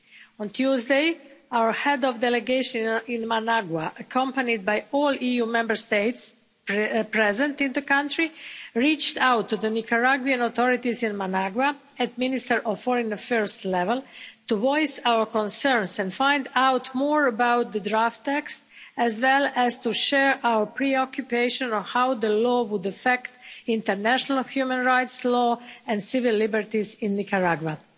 On Tuesday our head of delegation in Managua, accompanied by all EU Member States present in the country, reached out to the Nicaraguan authorities in Managua at Minister of Foreign Affairs level to voice our concerns and find out more about the draft text, as well as to share our preoccupation on how the law would affect international human rights law and civil liberties in Nicaragua.